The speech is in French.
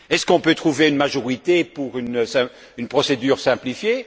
Est ce qu'on peut trouver une majorité pour une procédure simplifiée?